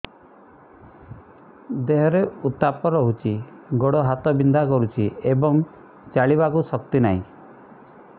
ଦେହରେ ଉତାପ ରହୁଛି ଗୋଡ଼ ହାତ ବିନ୍ଧା କରୁଛି ଏବଂ ଚାଲିବାକୁ ଶକ୍ତି ନାହିଁ